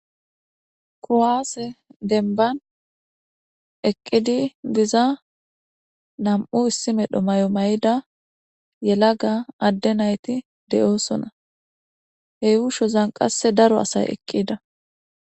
Kuwaase dembban eqqidi diza nam7u issi medho mayo mayida yelaga adde na7ithi de7oosona; he uushozan qassi daro asay eqqida.